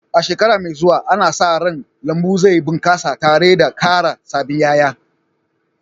A shekara mai zuwa, ana sa ran lambun zai bunƙasa tare da ƙara sabbin ƴaƴa